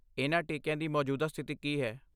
ਇਹਨਾਂ ਟੀਕਿਆਂ ਦੀ ਮੌਜੂਦਾ ਸਥਿਤੀ ਕੀ ਹੈ?